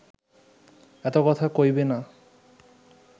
এত কথা কইবি না